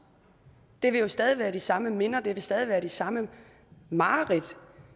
det vil jo stadig være de samme minder det vil stadig være de samme mareridt